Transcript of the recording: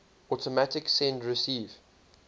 automatic send receive